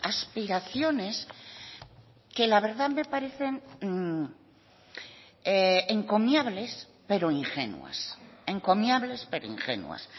aspiraciones que la verdad me parecen encomiables pero ingenuas encomiables pero ingenuas